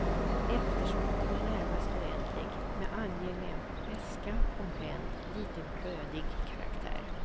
Eftersmaken är närmast oändlig med angenäm beska och bränd, lite brödig karaktär.